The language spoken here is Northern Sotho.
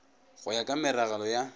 go ya ka meragelo ya